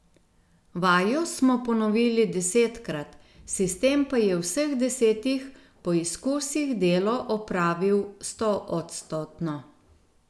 Vajo smo ponovili desetkrat, sistem pa je v vseh desetih poizkusih delo opravil stoodstotno.